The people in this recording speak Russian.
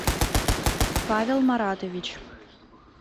павел маратович